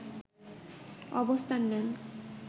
অবস্থান নেন